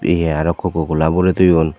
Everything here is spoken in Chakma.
ye aro cococola boray toyon.